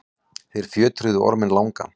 þeir fjötruðu orminn langa